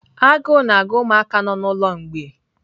Agụụ na-agụ ụmụaka nọ n'ụlọ mgbei.